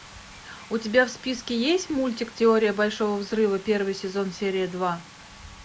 у тебя в списке есть мультик теория большого взрыва первый сезон серия два